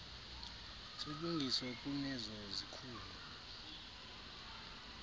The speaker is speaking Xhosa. silungiswa kunezo zikhulu